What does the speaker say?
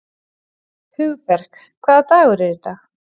Hugberg, hvaða dagur er í dag?